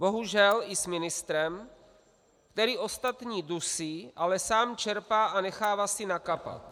Bohužel, i s ministrem, který ostatní dusí, ale sám čerpá a nechává si nakapat.